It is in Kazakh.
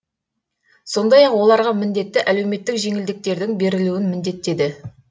сондай ақ оларға міндетті әлеуметтік жеңілдіктердің берілуін міндеттеді